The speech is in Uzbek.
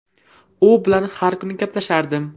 U bilan har kuni gaplashardim.